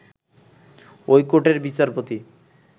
ঐ কোর্টের বিচারপতি